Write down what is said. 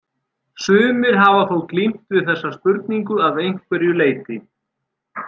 Sumir hafa þó glímt við þessa spurningu að einhverju leyti.